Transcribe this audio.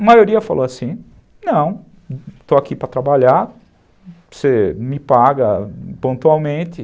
A maioria falou assim, não, estou aqui para trabalhar, você me paga pontualmente.